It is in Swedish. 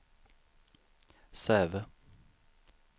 Säve